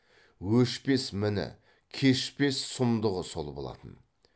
өшпес міні кешпес сұмдығы сол болатын